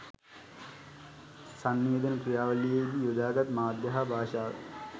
සන්නිවේදන ක්‍රියාවලියේ දී යොදා ගත් මාධ්‍ය හා භාෂාව